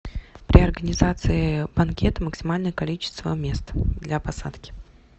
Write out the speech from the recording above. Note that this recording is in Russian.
при организации банкета максимальное количество мест для посадки